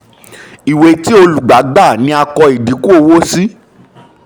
ìwé ti olùgbà gbà ni a kọ ìdínkù owó sí.